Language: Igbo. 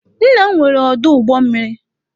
Nna m nwere ọdụ ụgbọ mmiri.